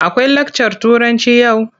Akwai lakcar Turanci yau?